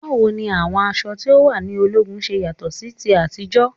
Báwo ni àwọn aṣọ tí o wà ní ológun ṣe yàtọ̀ sí ti àtijọ́?